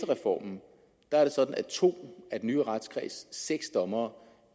reformen er det sådan at to af den nye retskreds seks dommere